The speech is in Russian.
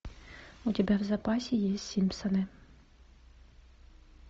у тебя в запасе есть симпсоны